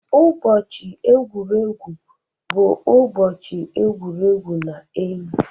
Ụbọchị egwuregwu bụ ụbọchị egwuregwu na enyi.